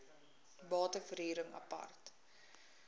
bate verhuring apart